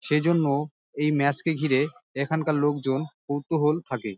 সেই জন্য এই ম্যাচ